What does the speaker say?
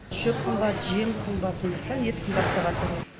шөп қымбат жем қымбат сондықтан ет қымбаттаватыр